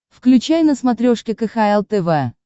включай на смотрешке кхл тв